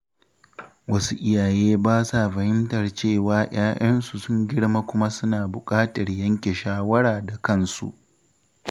Wasu iyaye ba sa fahimtar cewa ‘ya‘yansu sun girma kuma suna buƙatar yanke shawara da kansu.